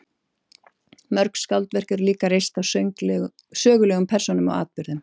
Mörg skáldverk eru líka reist á sögulegum persónum og atburðum.